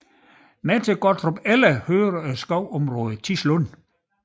Med til Gottrupelle hører skovområdet Tislund